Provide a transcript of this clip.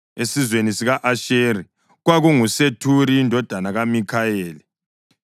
esizweni sika-Asheri, kwakunguSethuri indodana kaMikhayeli;